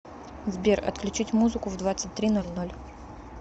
сбер отключить музыку в двадцать три ноль ноль